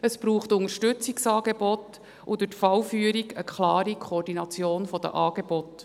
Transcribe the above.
es braucht Unterstützungsangebote und durch die Fallführungen eine klare Koordination der Angebote.